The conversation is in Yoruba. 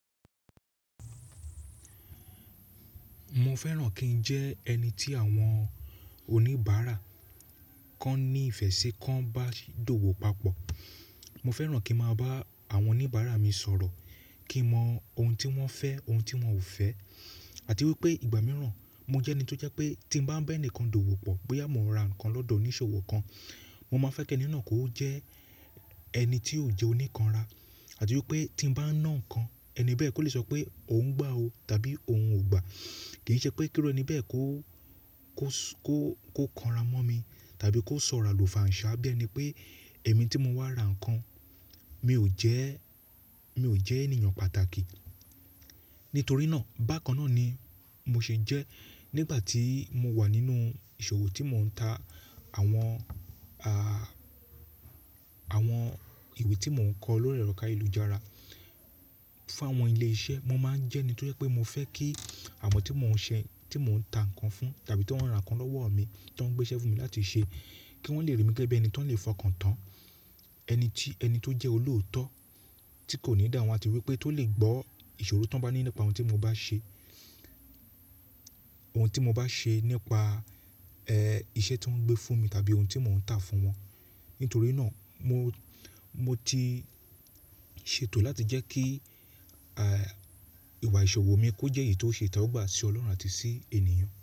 Mo fẹ́ràn kí n jẹ́ ẹni tí àwọn oníbàárà kan ní ìfẹ́ ṣe kan bá dọ̀wọ̀ papọ̀. Mo fẹ́ràn kí màá bá àwọn oníbàárà mi sọ̀rọ̀, kí n mọ ohun tí wọ́n fẹ́, ohun tí wọ́n ò fẹ́ àti wípé ìgbà mìíràn mo jẹ́ ẹni tó jẹ́ pé tí mo bá ń bá ẹnì kan dọ̀wọ́ pọ̀ pé àmo ra nǹkan lọ́dọ̀ onísòwò kan, mo máa fẹ́ kí ẹni náà kó jẹ́ ẹni tí ò jẹ́ oníkanra àti wípé tí mo bá nà nǹkan ẹni bẹ́ẹ̀ kó lè sọ pé òun ń gbá o tàbí òun ò gbà. Kì í ṣe pé kí ọ̀rẹ́ mi bẹ́ẹ̀ kó, kó, kó, kó kanra mọ́ mi tàbí kó sọ̀rọ̀ àlùfàǹṣá bí ẹni pé èmi tí mo wá ra nǹkan, mi ò jẹ́, mi ò jẹ́ ènìyàn pàtàkì. Nítorí náà bákan náà ni mo ṣe jẹ́ nígbà tí mo wà nínú ìṣòwò tí mò ń ta àwọn, à, àwọn ìwé tí mò ń kọ ló rẹrọka ìlú ìjara fún àwọn ilé iṣẹ́. Mo máa ń jẹ́ ẹni tó jẹ́ pé mo fẹ́ kí àwọn tí mò ń ṣe, tí mò ń ta nǹkan fún tàbí tí wọ́n ra nǹkan lọ́wọ́ mi tí wọ́n gbé ẹsẹ̀ fún mi láti ṣe kí wọ́n lè rí mi gẹ́gẹ́ bí ẹni tó lè fọkàn tán, ẹni tí, ẹni tó jẹ́ olóòótọ́ tí kò ní ìdáhùn àti wípé tó lè gbọ́ ìṣòro tó bá ní nípa ohun tí mo bá ṣe, ohun tí mo bá ṣe nípa, ẹ́, iṣẹ́ tí wọ́n ń gbé fún mi tàbí ohun tí mò ń tà fún wọn. Nítorí náà mo, mo ti ṣètò láti jẹ́ kí, à, ìwà ìṣòwò mi kó jẹ́ èyí tó ṣe itẹwọgbà sí Ọlọ́run àti sí ènìyàn.